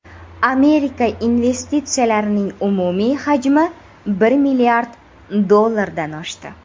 Amerika investitsiyalarining umumiy hajmi bir milliard dollardan oshdi.